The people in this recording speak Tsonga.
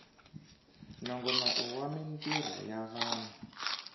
nongonoko wa mintirho ya vanhu